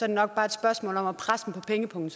det nok bare et spørgsmål om at presse dem på pengepungen